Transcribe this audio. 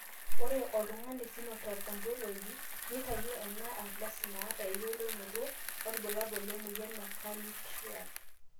ore oltungani Phenotype Ontology nitayio ena ardasi naata eyiolounoto olbulabul emoyian e Carney triad.